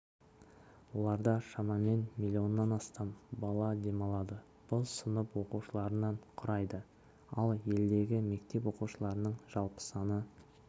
оларда шамамен миллионнан астам бала демалады бұл сынып оқушыларының құрайды ал елдегі мектеп оқушыларының жалпы саны